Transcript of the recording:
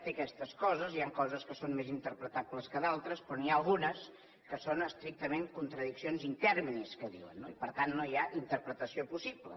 té aquestes coses hi han coses que són més interpretables que d’altres però n’hi ha algunes que són estrictament contradiccions in terminis que diuen no i per tant no hi ha interpretació possible